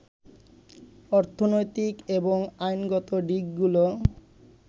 অর্থনৈতিক এবং আইনগত দিকগুলো